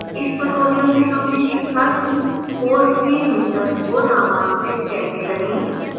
इस tutorial में हमने सीखा कि : course में यूजर्स को नामांकित कैसे करें